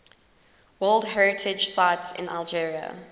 world heritage sites in algeria